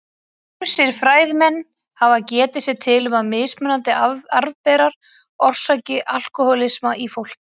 Ýmsir fræðimenn hafa getið sér til um að mismunandi arfberar orsaki alkóhólisma í fólki.